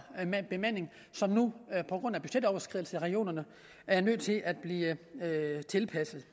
bemanding som nu på grund af budgetoverskridelser i regionerne er nødt til at blive tilpasset